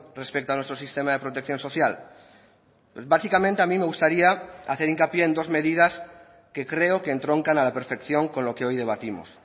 respecto a nuestro sistema de protección social básicamente a mí me gustaría hacer hincapié en dos medidas que creo que entroncan a la perfección con lo que hoy debatimos